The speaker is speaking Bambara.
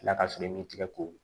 ka sɔrɔ i m'i tigɛ ko